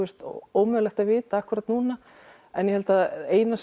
ómögulegt að vita akkúrat núna en ég held að eina